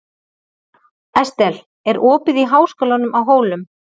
Estel, er opið í Háskólanum á Hólum?